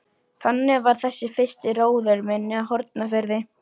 Þannig var þessi fyrsti róður minn á Hornafirði.